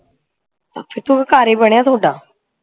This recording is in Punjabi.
ਅੱਛਾ ਤੇ ਉਹ ਕਹਿ ਘਰ ਹੀ ਬਣਿਆ ਥੋਡਾ